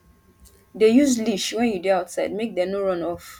dey use leash when you dey outside make dem no run off